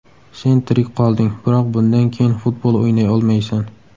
Sen tirik qolding, biroq bundan keyin futbol o‘ynay olmaysan”.